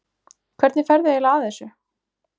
Hvernig ferðu eiginlega að þessu?